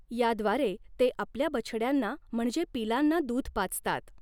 याद्वारे ते आपल्या बछड्यांंना म्हणजे पिलांना दूध पाजतात.